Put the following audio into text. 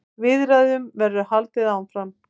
Viðræðum verður haldið áfram.